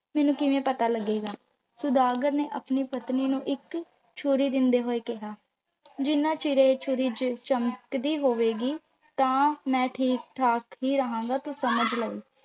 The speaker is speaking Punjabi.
ਮੈਨੂੰ ਕਿਵੇਂ ਪਤਾ ਲੱਗੇਗਾ। ਸੁਦਾਗਰ ਨੇ ਆਪਣੀ ਪਤਨੀ ਨੂੰ ਇੱਕ ਛੁਰੀ ਦਿੰਦੇ ਹੋਏ ਕਿਹਾ, ਜਿੰਨ੍ਹਾ ਚਿਰ ਇਹ ਛੁਰੀ ਚ ਚਮਕਦੀ ਹੋਵੇਗੀ ਤਾਂ ਮੈਂ ਠੀਕ-ਠਾਕ ਹੀ ਰਹਾਂਗਾ, ਤੂੰ ਸਮਝ ਲਈਂ।